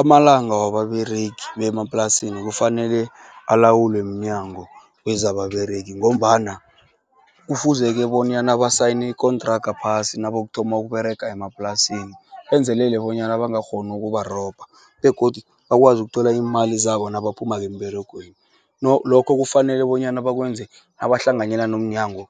Amalanga wababeregi bemaplasini kufanele alawulwe mnyango wezababeregi, ngombana kufuzeke bonyana basayine ikontraga phasi nabokuthoma ukuberega emaplasini, benzelele bonyana bangakghoni ukubarobha, begodu bakwazi ukuthola iimali zabo nabaphumuko emberegweni. Lokho kufanele bonyana bakwenze nabahlanganyela nomnyango